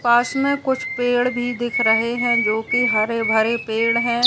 पास में कुछ पेड़ भी दिख रहे हैं जोकि हरे-भरे पेड़ हैं।